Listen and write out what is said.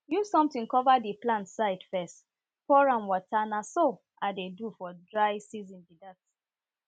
use something cover di plant side fess pour am water na so i dey do for dry season bi dat